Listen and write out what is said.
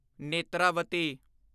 Netravati